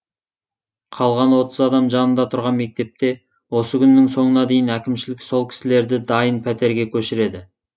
қалған отыз адам жанында тұрған мектепте осы күннің соңына дейін әкімшілік сол кісілерді дайын пәтерге көшіреді